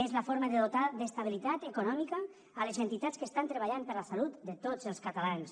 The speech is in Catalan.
és la forma de dotar d’estabilitat econòmica les entitats que estan treballant per la salut de tots els catalans